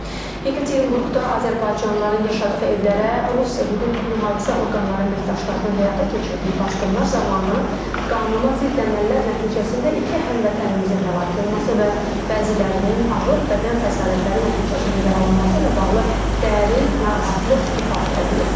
Yekaterinburqda azərbaycanlıların yaşadığı evlərə Rusiya hüquq mühafizə orqanları əməkdaşlarının həyata keçirdiyi basqınlar zamanı qanuna zidd əməllər nəticəsində iki həmvətənimizin həlak olması və bəzilərinin ağır bədən xəsarətləri nəticəsində yaralanması ilə bağlı dərin narahatlıq ifadə olunub.